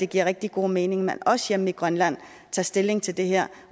giver rigtig god mening at man også hjemme i grønland tager stilling til det her